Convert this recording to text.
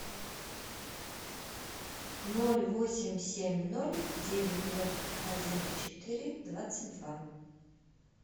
ноль восемь семь ноль девять ноль один четыре двадцать два